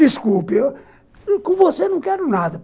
Desculpe, com você não quero nada.